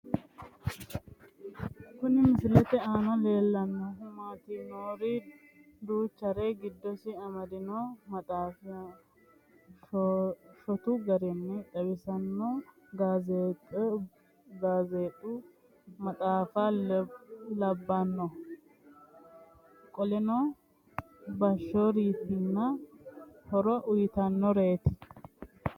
Kuni misilete aana leellannohu maati yiniro duuchare giddosi amaddino maxaaffa shotu garinni xawisanno gaazeexubgedee maxaaffa labbanno qoleno boohaarsitanni horo uyitannoreeti